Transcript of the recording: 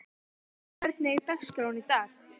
Baddi, hvernig er dagskráin í dag?